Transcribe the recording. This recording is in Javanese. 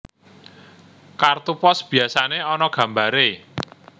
Kartu pos biyasané ana gambaré